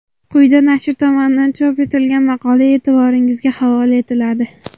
Quyida nashr tomonidan chop etilgan maqola e’tiboringizga havola etiladi .